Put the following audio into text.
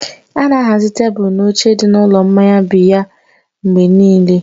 A na-ahazi tebụl na oche ndị dị n'ụlọ mmanya biya mgbe niile.